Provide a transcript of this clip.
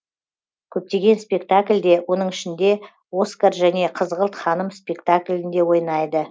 көптеген спектакльде оның ішінде оскар және қызғылт ханым спектаклінде ойнайды